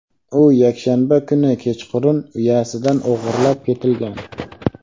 u yakshanba kuni kechqurun uyasidan o‘g‘irlab ketilgan.